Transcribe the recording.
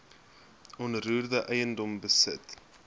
onroerende eiendom besit